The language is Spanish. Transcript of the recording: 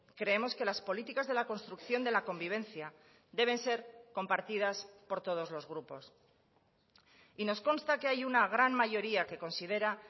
creemos que las políticas de la construcción de la convivencia deben ser compartidas por todos los grupos y nos consta que hay una gran mayoría que considera